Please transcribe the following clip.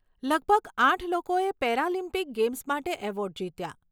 લગભગ આઠ લોકોએ પેરાલિમ્પિક ગેમ્સ માટે એવોર્ડ જીત્યાં.